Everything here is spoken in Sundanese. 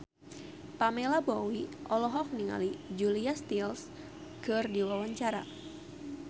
Pamela Bowie olohok ningali Julia Stiles keur diwawancara